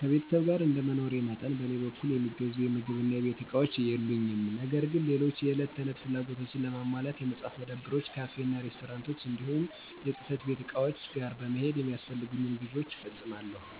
ከቤተሰብ ጋር እንደመኖሬ መጠን በእኔ በኩል የሚገዙ የምግብ እና የቤት እቃዎች የሉኝም። ነገር ግን ሌሎች የዕለት ተዕለት ፍላጎቶችን ለማሟላት የመፅሀፍት መደብሮች፣ ካፌ እና ሬስቶራንቶች እንዲሁም የፅህፈት ቤት ዕቃዎች ጋር በመሄድ የሚያስፈልጉኝን ግዥዎች እፈፅማለሁ።